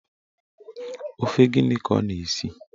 Ofe gịnị ka oyna-esi?